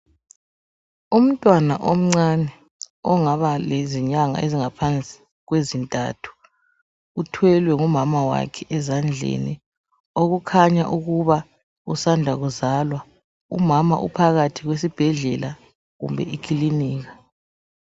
Umntwana omncane ongaba lezinyanga ezingaphansi kwezintathu uthwelwe ngumama wakhe ezandleni okukhanya ukuba usanda kuzalwa. Umama uphakathi kwesibhedlela kumbe ikilinika.